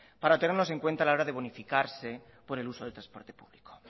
para tenerlos en cuenta a la hora de bonificarse por el uso del transporte público